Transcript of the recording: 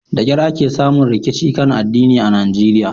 Da kyar ake samun rikici kan addini a Najeriya.